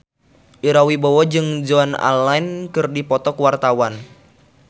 Ira Wibowo jeung Joan Allen keur dipoto ku wartawan